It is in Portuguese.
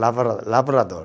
Lavra, lavrador.